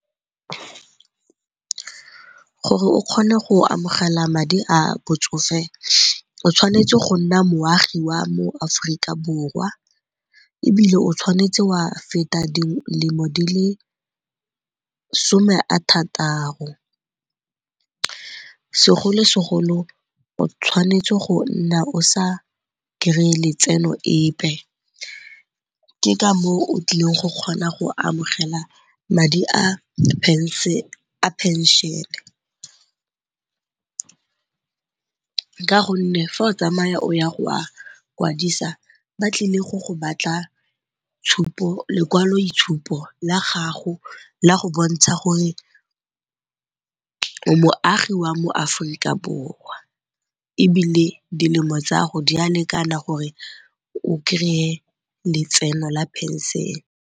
Gore o kgone go amogela madi a botsofe o tshwanetse go nna moagi wa mo Aforika Borwa ebile o tshwanetse wa feta dilemo di le some-a-thataro. Segolo-segolo o tshwanetse go nna o sa kry-e letseno epe, ke ka foo o tlileng go kgona go amogela madi a phenšene ka gonne fa o tsamaya o ya go a kwadisa ba tlile go go batla lekwaloitshupo la gago la go bontsha gore o moagi wa mo Aforika Borwa ebile dilemo tsago di a lekana gore o kry-e letseno la phenšene.